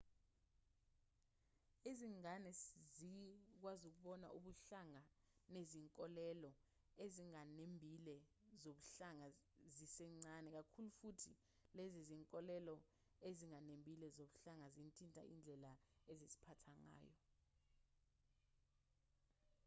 izingane zikwazi ukubona ubuhlanga nezinkolelo ezinganembile zobuhlanga zisencane kakhulu futhi lezi zinkolelo ezinganembile zobuhlanga zithinta indlela eziziphatha ngayo